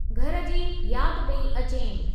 घर जी यादि पेई अचेमि।